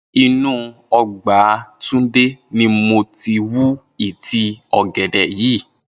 Inú o̩gbà Túndé ni mo ti wú ìtí ò̩gè̩dè̩ yìí